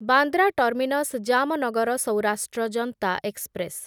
Bandra terminus Jamnagar Saurashtra Janta express